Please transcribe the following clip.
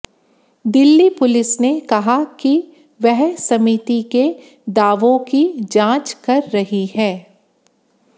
Delhi police ने कहा कि वह समिति के दावों की जांच कर रही है